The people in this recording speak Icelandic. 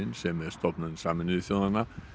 sem er stofnun Sameinuðu þjóðanna